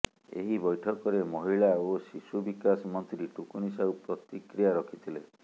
ଏହି ବୈଠକରେ ମହିଳା ଓ ଶିଶୁ ବିକାଶ ମନ୍ତ୍ରୀ ଟୁକୁନି ସାହୁ ପ୍ରତିକ୍ରିୟା ରଖିଥିଲେ